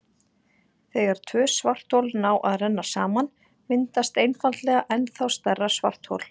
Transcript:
Þegar tvö svarthol ná að renna saman myndast einfaldlega ennþá stærra svarthol.